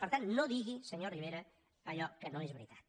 per tant no digui senyor rivera allò que no és veritat